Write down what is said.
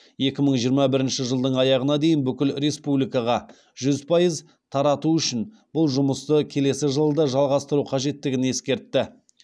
екі мың жиырма бірінші жылдың аяғына дейін бүкіл республикаға жүз пайыз тарату үшін бұл жұмысты келесі жылы да жалғастыру қажеттігін ескертті